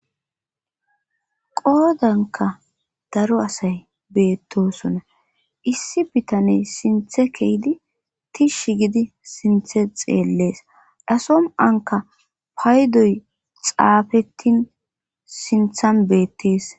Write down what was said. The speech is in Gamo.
qoodanka daro asay beettosona issi bitaney sinthe kehidi tish gidi sinthe xeellees dasom anka paydoy xaafettin sinthan beettees